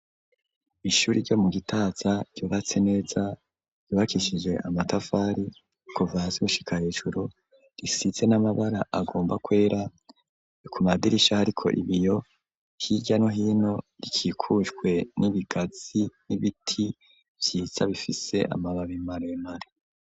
Ishuri, ryo mu Gitaza, ryubatse neza, ryubakishije amatafari, kuva hasi, gushika hejuru, risize n'amabara, agomba kwera; ku madirisha, hariko ibiyo, hirya no hino, rikikujwe n'ibigazi, n'ibiti vyiza, bifise amababi maremare.